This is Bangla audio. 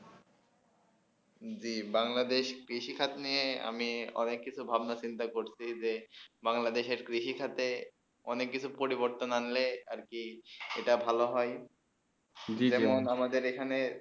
জী বাংলাদেশ কৃষি খাটো নিয়ে আমি অনেক কিছু ভাবনা চিন্তা করছি যে বাংলাদেশে কৃষি ক্ষেত্রে অনেক কিছু পরিবর্তন আনলে আর কি সেটা ভালো হয়ে